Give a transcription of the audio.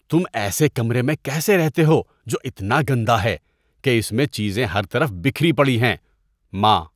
تم ایسے کمرے میں کیسے رہتے ہو جو اتنا گندہ ہے کہ اس میں چیزیں ہر طرف بکھری پڑی ہیں؟ (ماں)